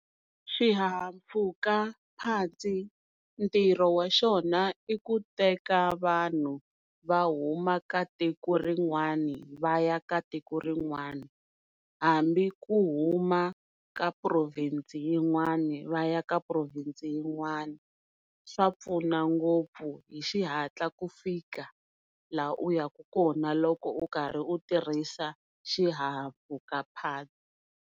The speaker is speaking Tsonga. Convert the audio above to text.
Xihahampfhukaphatsa ntirho wa xona i ku teka vanhu va huma ka tiko rin'wani va ya ka tiko rin'wani hambi ku huma ka province yin'wani va ya ka province yin'wana swa pfuna ngopfu hi xihatla ku fika la u ya ku kona loko u karhi u tirhisa xihahampfhukaphatsa.